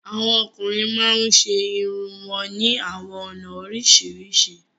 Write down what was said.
Awọn ọkùnrin màá ń ṣẹ ẹ̀rùn wọn ni awọn ọna oríṣiríṣi.